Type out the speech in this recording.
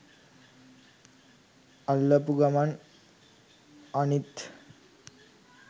අල්ලපු ගමන් අනිත්